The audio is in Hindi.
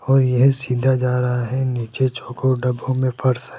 और येह सीधा जा रहा है नीचे चोकोर डब्बों में फर्श हैं।